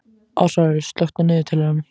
Ásvarður, slökktu á niðurteljaranum.